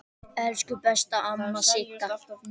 Elsku besta amma Sigga.